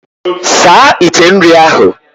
Saa ite nri ahụ!